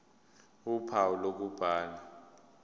ph uphawu lokubhala